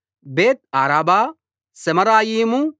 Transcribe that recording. బేత్ అరాబా సెమరాయిము